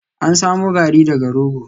An samo Garri daga rogo